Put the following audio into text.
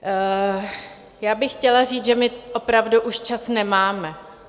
Já bych chtěla říct, že my opravdu už čas nemáme.